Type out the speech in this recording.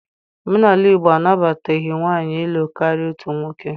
Omenala Igbo anabataghi nwaanyị ịlụ karịa otu nwoke